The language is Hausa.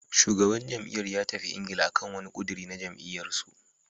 Shugaban jam'iyyar ya tafi Ingila akan wani ƙudiri na jam'iyyar su.